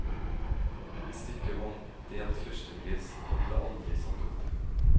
Stykket vant delt førstepris, men ble aldri satt opp.